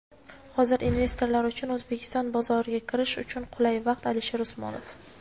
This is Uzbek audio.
Hozir investorlar uchun O‘zbekiston bozoriga kirish uchun qulay vaqt – Alisher Usmonov.